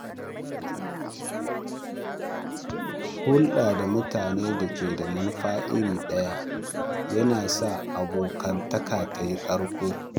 Hulɗa da mutanen da ke da manufa iri ɗaya yana sa abokantaka tayi ƙarko